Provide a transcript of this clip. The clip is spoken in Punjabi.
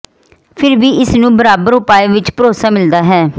ਫਿਰ ਵੀ ਇਸ ਨੂੰ ਬਰਾਬਰ ਉਪਾਅ ਵਿਚ ਭਰੋਸਾ ਮਿਲਦਾ ਹੈ